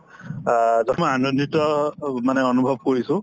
অ, নথৈ আনন্দিত মানে অনুভৱ কৰিছো